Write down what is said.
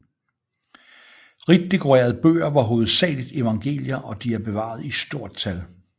Rigt dekorerede bøger var hovedsageligt evangelier og de er bevaret i stort tal